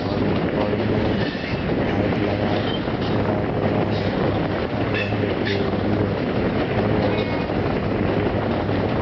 और ऊपर में लाइट लगाया गया गया है और लिखा गया है डेली और कुछ लिखा गया वो दिखाई नहीं दे रहा है।